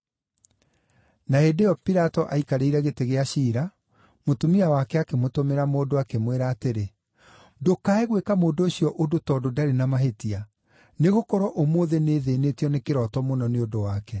Na hĩndĩ ĩyo Pilato aikarĩire gĩtĩ gĩa ciira, mũtumia wake akĩmũtũmĩra mũndũ, akĩmwĩra atĩrĩ: “Ndũkae gwĩka mũndũ ũcio ũndũ tondũ ndarĩ na mahĩtia, nĩgũkorwo ũmũthĩ nĩthĩĩnĩtio nĩ kĩroto mũno nĩ ũndũ wake.”